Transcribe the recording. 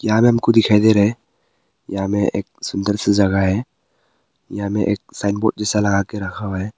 यहां में हमको दिखाई दे रहा है यहां में एक सुंदर सी जगह है यहां में एक साइन बोर्ड जैसा लगा के रखा हुआ है।